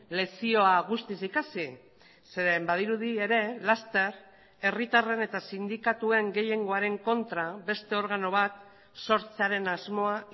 lezioa guztiz ikasi zeren badirudi ere laster herritarren eta sindikatuen gehiengoaren kontra beste organo bat sortzearen asmoa